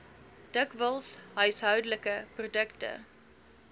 dikwels huishoudelike produkte